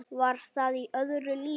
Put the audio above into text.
Var það í öðru lífi?